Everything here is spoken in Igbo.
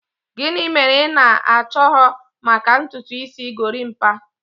Gịnị mere ị na-ahọrọ maka ntutu isi gorimapa?